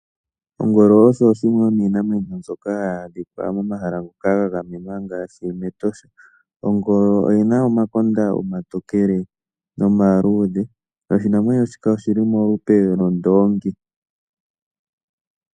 Ongolo osho dhimwe shomiinamwenyo mbyoka hayi adhika mohala ga gamenwa ngaashi mEtosha. Ongolo oyi na omakonda omaluudhe nomatokele. Oshinamwenyo shika oshi li molupe lwondoongi.